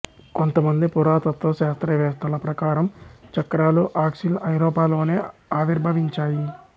కొంతమంది పురాతత్వ శాస్త్రవేత్తల ప్రకారం చక్రాలు ఆక్సిల్ ఐరోపాలోనే ఆవిర్భవించాయి